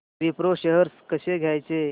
Wipro shares कसे घ्यायचे